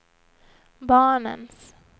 barnens